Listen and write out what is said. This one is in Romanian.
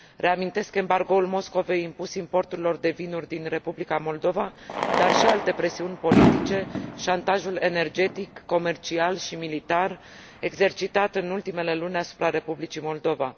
Reamintesc embargoul Moscovei impus importurilor de vinuri din Republica Moldova, dar și alte presiuni politice, șantajul energetic, comercial și militar exercitat în ultimele luni asupra Republicii Moldova.